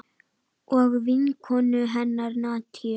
Og vinkonu hennar Nadiu.